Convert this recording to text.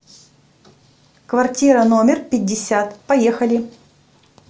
квартира номер пятьдесят поехали